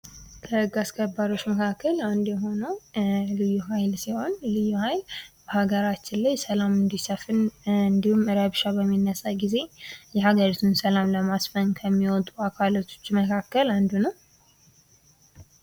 ከህግ አስከባሪዎች መካከል አንዱ የሆነው ልዩ ሀይል ሀገራችን ላይ ሰላም እንዲሰፍን እንዲሁም ረብሻ በሚነሳበት ጊዜ የሀገሪቱን ሰላም ለማስፈን ከሚወጡ አካላቶች አንዱ ነው።